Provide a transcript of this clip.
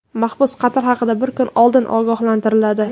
Mahbus qatl haqida bir kun oldin ogohlantiriladi.